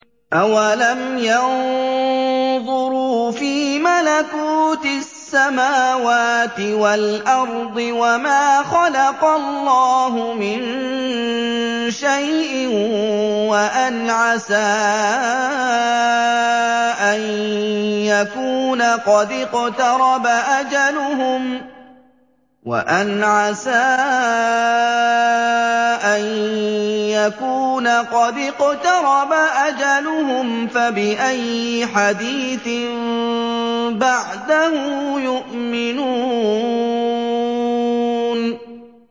أَوَلَمْ يَنظُرُوا فِي مَلَكُوتِ السَّمَاوَاتِ وَالْأَرْضِ وَمَا خَلَقَ اللَّهُ مِن شَيْءٍ وَأَنْ عَسَىٰ أَن يَكُونَ قَدِ اقْتَرَبَ أَجَلُهُمْ ۖ فَبِأَيِّ حَدِيثٍ بَعْدَهُ يُؤْمِنُونَ